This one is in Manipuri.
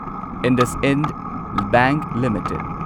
IndusInd bank limited